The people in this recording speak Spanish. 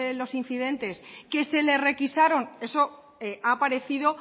los incidentes que se les requisaron eso ha aparecido